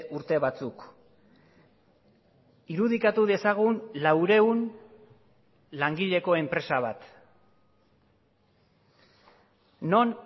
urte batzuk irudikatu dezagun laurehun langileko enpresa bat non